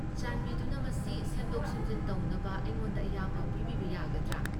ꯆꯥꯟꯕꯤꯗꯨꯅ ꯃꯁꯤ ꯁꯦꯝꯗꯣꯛ ꯁꯦꯝꯖꯤꯟ ꯇꯧꯅꯕ ꯑꯩꯉꯣꯟꯗ ꯑꯌꯥꯕ ꯄꯤꯕꯤꯕ ꯌꯥꯒꯗ꯭ꯔꯥ?